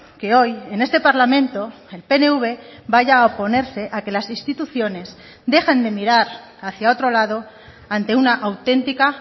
que hoy en este parlamento el pnv vaya a oponerse a que las instituciones dejen de mirar hacia otro lado ante una autentica